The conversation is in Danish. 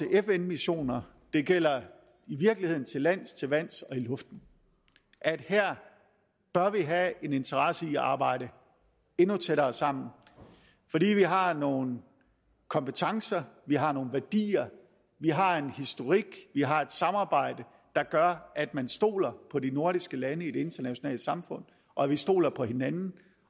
fn missioner det gælder i virkeligheden til lands til vands og i luften at her bør vi have en interesse i at arbejde endnu tættere sammen fordi vi har nogle kompetencer vi har nogle værdier vi har en historik vi har et samarbejde der gør at man stoler på de nordiske lande i det internationale samfund og vi stoler på hinanden